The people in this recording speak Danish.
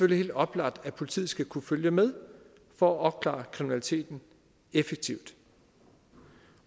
helt oplagt at politiet skal kunne følge med for at opklare kriminaliteten effektivt